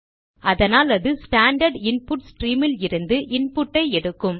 அதனாலது standard input stream இலிருந்து இன்புட்டை எடுக்கும்